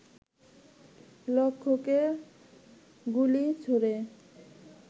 লক্ষ্যকরে গুলি ছোড়ে